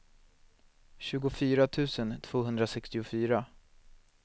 tjugofyra tusen tvåhundrasextiofyra